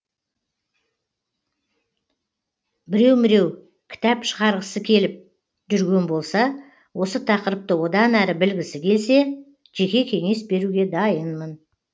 біреу біреу кітап шығарғысы келіп жүрген болса осы тақырыпты одан әрі білгісі келсе жеке кеңес беруге дайынмын